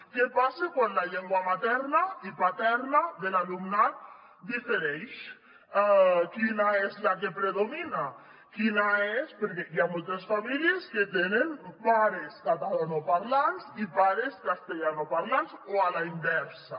què passa quan la llengua materna i paterna de l’alumnat difereixen quina és la que predomina quina és perquè hi ha moltes famílies que tenen mares catalanoparlants i pares castellanoparlants o a la inversa